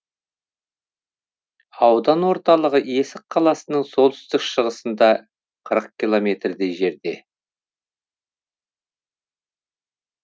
аудан орталығы есік қаласының солтүстік шығысында қырық километрдей жерде